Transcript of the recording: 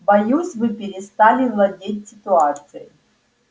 боюсь вы перестали владеть ситуацией